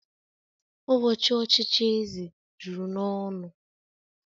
Ụbọchị ochichi eze juru n'ọnụ